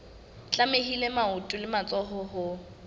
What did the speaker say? tlamehile maoto le matsoho ho